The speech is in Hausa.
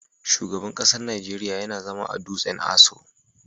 Shugaban kasan Nijeriya yana zama a dutsen Aso.